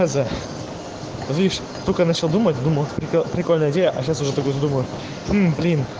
лишь только начал думать думал прикольная сейчас тоже так думаю